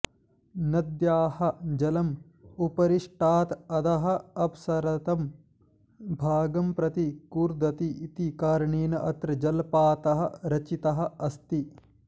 नद्याः जलम् उपरिष्टात् अधः अपसृतं भागं प्रति कूर्दति इति कारणेन अत्र जलपातः रचितः अस्ति